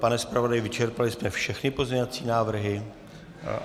Pane zpravodaji, vyčerpali jsme všechny pozměňovací návrhy?